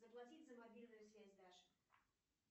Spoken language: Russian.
заплатить за мобильную связь даше